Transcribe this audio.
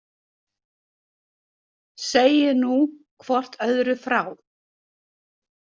Segið nú hvort öðru frá.